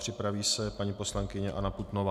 Připraví se paní poslankyně Anna Putnová.